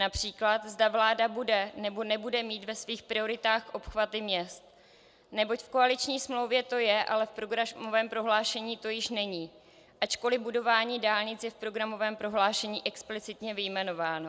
Například zda vláda bude, nebo nebude mít ve svých prioritách obchvaty měst, neboť v koaliční smlouvě to je, ale v programovém prohlášení to již není, ačkoliv budování dálnic je v programovém prohlášení explicitně vyjmenováno.